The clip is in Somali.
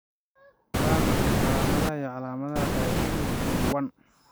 Waa maxay calaamadaha iyo calaamadaha Dystonia 1?